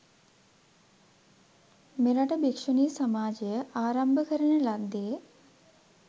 මෙරට භික්‍ෂුණී සමාජය ආරම්භ කරන ලද්දේ